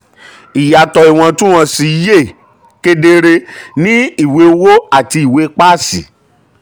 ìyàtọ̀ ìwọntún-wọnsì yè kedere ní um ìwé owó àti ìwé páàsì.